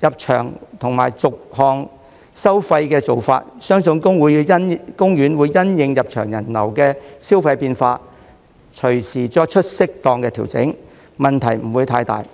入場及逐項收費的做法，相信公園會因應入場人流的消費變化，隨時作出適當的調整，問題不會太大。